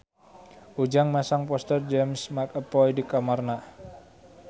Ujang masang poster James McAvoy di kamarna